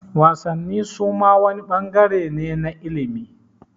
Wasanni suma wani ɓangare ne na ilimi